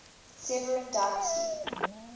severan dynasty